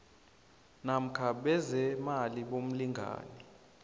namkha bezeemali bomlingani